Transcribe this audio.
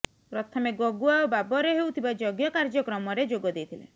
ପ୍ରଥମେ ଗଗୁଆ ଓ ବାବରରେ ହେଉଥିବା ଯଜ୍ଞ କାର୍ଯ୍ୟକ୍ରମରେ ଯୋଗ ଦେଇଥିଲେ